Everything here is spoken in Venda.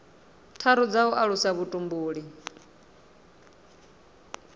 tharu dza u alusa vhutumbuli